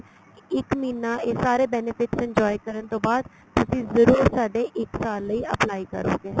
ਇੱਕ ਮਹੀਨਾ ਇਹ ਸਾਰੇ benefit enjoy ਕਰਨ ਤੋਂ ਬਾਅਦ ਤੁਸੀਂ ਜਰੂਰ ਸਾਡੇ ਇੱਕ ਸਾਲ ਲਈ apply ਕਰੋਗੇ